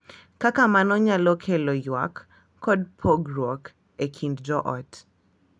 Kaka mano nyalo kelo ywak kod pogruok e kind joot.